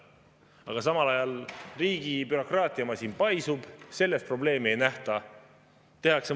Aga samal ajal riigi bürokraatiamasin paisub, selles probleemi ei nähta.